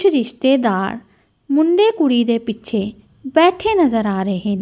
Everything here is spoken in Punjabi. ਕੁਛ ਰਿਸ਼ਤੇਦਾਰ ਮੁੰਡੇ ਕੁੜੀ ਦੇ ਪਿੱਛੇ ਬੈਠੇ ਨਜ਼ਰ ਆ ਰਹੇ--